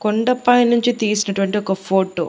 కొండపై నుంచి తీసినటువంటి ఒక ఫోటో .